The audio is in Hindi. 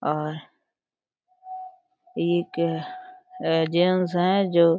और एक जेंट्स हैं जो --